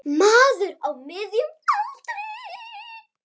Maður á miðjum aldri.